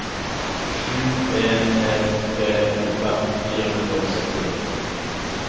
sju en en tre åttifem fire hundre og syttini